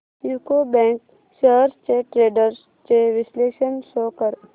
UCO bank shares trends चे विश्लेषण show कर